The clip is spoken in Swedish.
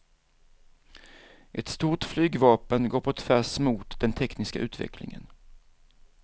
Ett stort flygvapen går på tvärs mot den tekniska utvecklingen.